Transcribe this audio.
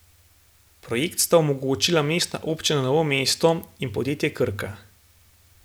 Projekt sta omogočila mestna občina Novo mesto in podjetje Krka.